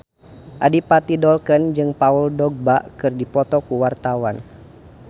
Adipati Dolken jeung Paul Dogba keur dipoto ku wartawan